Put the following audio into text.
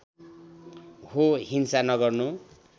हो हिंसा नगर्नु